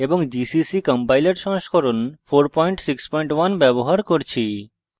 এবং gcc compiler সংস্করণ 461 ব্যবহার করছি